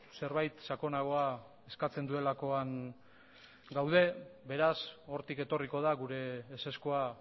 zerbait sakonagoa eskatzen duelakoan gaude beraz hortik etorriko da gure ezezkoa